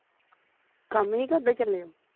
ਕੰਮ ਹੀ ਕਿ ਉੱਦਾਂ ਚੱਲੇ ਹੋ